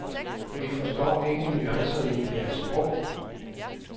Vi forstår ikke nuancerne i deres sprog.